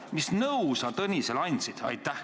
Mis nõu sa Tõnisele andsid?